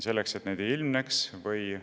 Selleks, et neid ei ilmneks, rasedust jälgitaksegi.